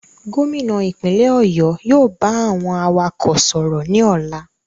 Gómìnà ìpínlẹ̀ ọ̀yọ́ yóò ba àwọn awakọ̀ sọ̀rọ̀ ní ọlá.